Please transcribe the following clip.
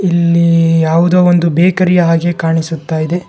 ಇಲ್ಲೀ ಯಾವುದೋ ಒಂದು ಬೇಕರಿ ಹಾಗೆ ಕಾಣಿಸುತ್ತ ಇದೆ.